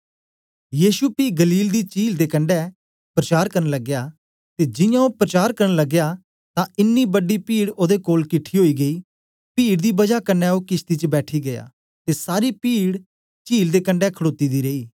यीशु पी गलील दी चील दे कंडै प्रचार करन लगया ते जियां ओ प्रचार करन लगया तां इन्नी बड़ी पीड ओदे कोल किठी ओई गेई पीड दी बजा कन्ने ओ किशती च बैठी गीया ते सारी पीड चील दे कंडै खडोती दी रेई